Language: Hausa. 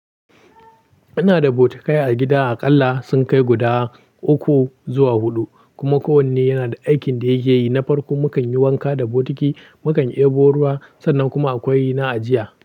Ina da bokitai a gida aƙalla sun kai guda uku zuwa huɗu kuma kowanne yana da aikin da yake yi. Na farko mukan yi wanka da bokiti, mukan ɗebo ruwa sannan kuma akwai na ajiya.